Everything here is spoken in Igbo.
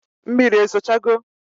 Mmiri ezo cha go?